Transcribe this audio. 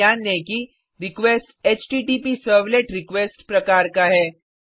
यह भी ध्यान दें कि रिक्वेस्ट एचटीटीपीसर्वलेटरक्स्ट प्रकार का है